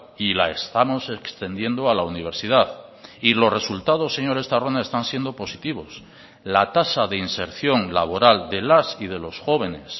y la estamos extendiendo a la universidad y los resultados señor estarrona están siendo positivos la tasa de inserción laboral de las y de los jóvenes